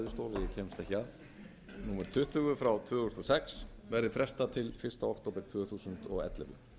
ekki að númer tuttugu tvö þúsund og sex verði frestað til fyrsta október tvö þúsund og ellefu